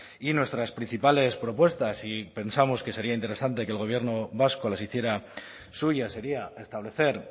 y nuestras principales propuestas y pensamos que sería interesante que el gobierno vasco las hiciera suyas sería establecer